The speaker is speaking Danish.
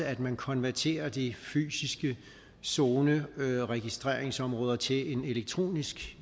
at man konverterer de fysiske zoneregistreringsområder til en elektronisk